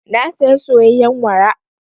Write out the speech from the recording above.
Na saya soyayyen wara.